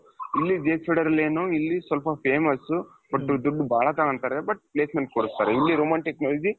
ಇಲ್ಲಿ ಸ್ವಲ್ಪ famous but ದುಡ್ದು ಬಹಳ ತಗೊಂತಾರೆ but placement ಕೊಡಸ್ತಾರೆ. ಇಲ್ಲಿ Roman Technologies